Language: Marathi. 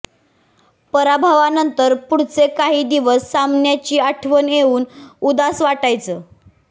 पराभवानंतर पुढचे काही दिवस सामन्याची आठवण येऊन उदास वाटायचं